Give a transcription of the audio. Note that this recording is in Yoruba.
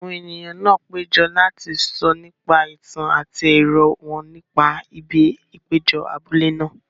Àwọn ènìyàn náà péjọ láti sọ nípa ìtàn àti èrò wọn nípa ibi ìpéjọ abúlé náà.